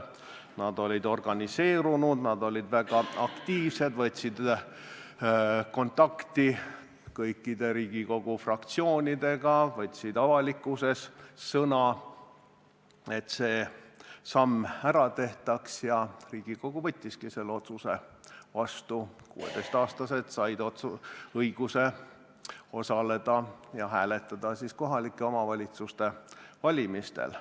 Nad olid organiseerunud, nad olid väga aktiivsed, võtsid kontakti kõikide Riigikogu fraktsioonidega, võtsid avalikkuses sõna, et see samm ära tehtaks, ja Riigikogu võttiski selle otsuse vastu: ka 16- ja 17-aastased said õiguse hääletada kohalike omavalitsuste valimistel.